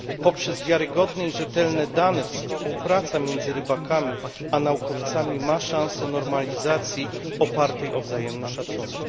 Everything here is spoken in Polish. Poprzez wiarygodne i rzetelne dane współpraca między rybakami a naukowcami ma szansę normalizacji opartej o wzajemny szacunek.